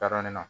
Taara ne na